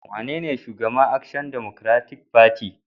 Wanene Shugaban Action Democratic Party (ADP)?